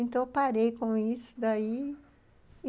Então, eu parei com isso daí.